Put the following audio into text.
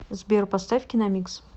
сбер поставь киномикс